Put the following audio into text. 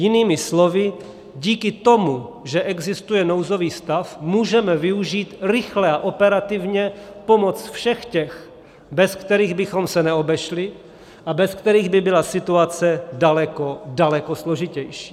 Jinými slovy díky tomu, že existuje nouzový stav, můžeme využít rychle a operativně pomoc všech těch, bez kterých bychom se neobešli a bez kterých by byla situace daleko, daleko složitější.